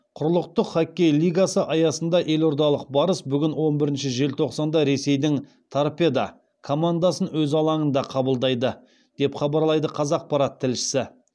құрлықтық хоккей лигасы аясында елордалық барыс бүгін он бірінші желтоқсанда ресейдің торпедо командасын өз алаңында қабылдайды деп хабарлайды қазақпарат тілшісі